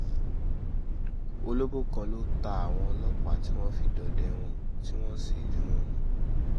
olobó kan ló ta àwọn ọlọ́pàá tí wọ́n fi dọdẹ wọn tí wọ́n sì rí wọn mú